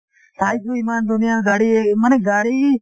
চাইছোঁ ইমান ধুনীয়া গাড়ী মানে গাড়ী